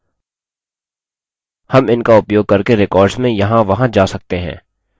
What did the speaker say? हम इनका उपयोग करके रिकार्ड्स में यहाँ वहां जा सकते हैं